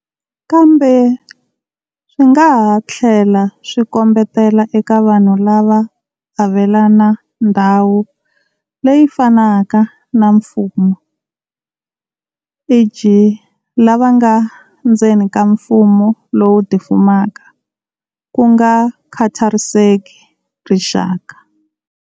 Kambe, swi nga ha tlhela swi kombetela eka vanhu lava avelana ndhawu leyi fanaka na mfumo e.g. lava nga endzeni ka mfumo lowu tifumaka, ku nga khathariseki rixaka.